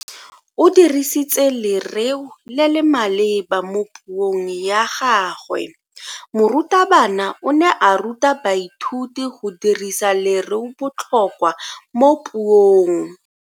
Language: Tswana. O dirisitse lereo le le maleba mo puong ya gagwe. Morutabana o ne a ruta baithuti go dirisa lereobotlhokwa mo puong.